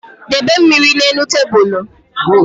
Debe mmiri na-elu tabulu